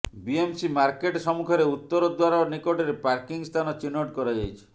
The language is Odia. ବିଏମସି ମାର୍କେଟ ସମ୍ମୁଖରେ ଉତ୍ତର ଦ୍ବାର ନିକଟରେ ପାର୍କିଂ ସ୍ଥାନ ଚିହ୍ନଟ କରାଯାଇଛି